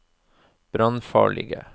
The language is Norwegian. brannfarlige